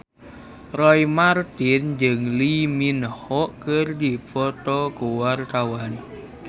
Roy Marten jeung Lee Min Ho keur dipoto ku wartawan